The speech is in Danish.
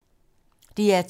DR2